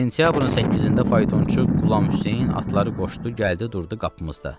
Sentyabrın 8-də faytonçu Qulam Hüseyn atları qoşdu, gəldi durdu qapımızda.